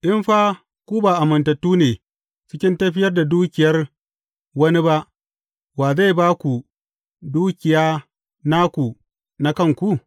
In fa ku ba amintattu ne cikin tafiyar da dukiyar wani ba, wa zai ba ku dukiya naku, na kanku?